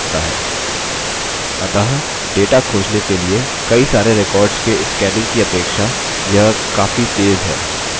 अतः data खोजने के लिए सारे records के scanning की अपेक्षा यह काफी तेज़ है